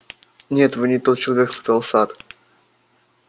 нет вы не тот человек сказал сатт